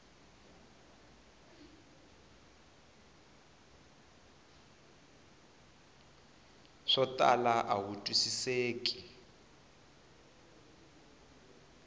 swo tala a wu twisiseki